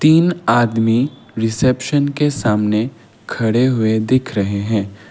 तीन आदमी रिसेप्शन के सामने खड़े हुए दिख रहे हैं।